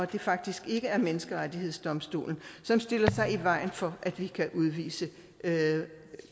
det faktisk ikke er menneskerettighedsdomstolen som stiller sig i vejen for at vi kan udvise